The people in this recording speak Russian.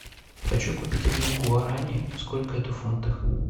хочу купить один гуарани сколько это в фунтах